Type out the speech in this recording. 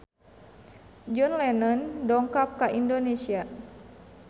John Lennon dongkap ka Indonesia